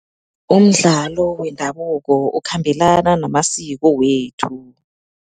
Umdlalo wendabuko ukhambelana namasiko wethu.